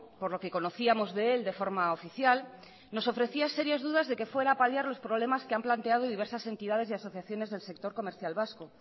por lo que conocíamos de él de forma oficial nos ofrecía serias dudas de que fuera a paliar los problemas que han planteado diversas entidades y asociaciones del sector comercial vasco